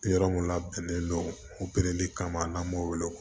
Yɔrɔ min labɛnnen don kama n'an m'o wele